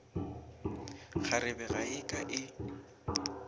kgarebe ga e ke e